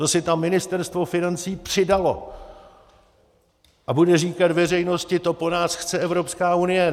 To si tam Ministerstvo financí přidalo a bude říkat veřejnosti: to po nás chce Evropská unie.